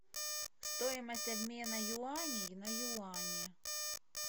стоимость обмена юаней на юани